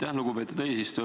Aitäh, lugupeetud eesistuja!